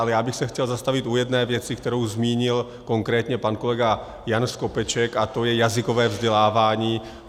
Ale já bych se chtěl zastavit u jedné věci, kterou zmínil konkrétně pan kolega Jan Skopeček, a to je jazykové vzdělávání.